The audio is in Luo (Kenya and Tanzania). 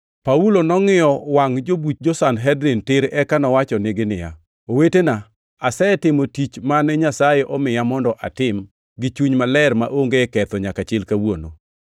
Paulo nongʼiyo wach jobuch jo-Sanhedrin tir eka nowachonegi niya, “Owetena, asetimo tich mane Nyasaye omiya mondo atim gi chuny maler maonge ketho nyaka chil kawuono.”